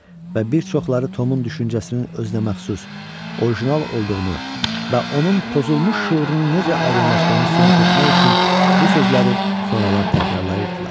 Və bir çoxları Tomun düşüncəsinin özünəməxsus, orijinal olduğunu və onun pozulmuş şüurunu necə aydınlaşdığını sübut etmək üçün bu sözləri sonralar təkrarlayırdılar.